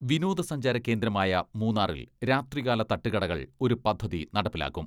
വിനോദസഞ്ചാര കേന്ദ്രമായ മൂന്നാറിൽ രാത്രികാല തട്ടുകടകൾ ഒരു പദ്ധതി നടപ്പിലാക്കും.